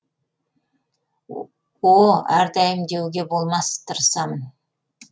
о әрдайым деуге болмас тырысамын